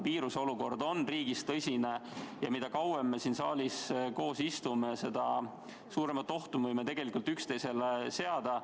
Viiruseolukord on riigis tõsine ja mida kauem me siin saalis koos istume, seda suuremat ohtu me võime tegelikult üksteisele kujutada.